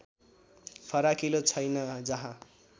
फराकिलो छैन जहाँ